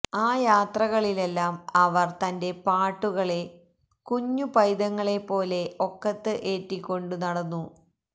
ആ യാത്രകളിലെല്ലാം അവര് തന്റെ പാട്ടുകളെ കുഞ്ഞു പൈതങ്ങളെപ്പോലെ ഒക്കത്ത് ഏറിക്കൊണ്ടു നടന്നു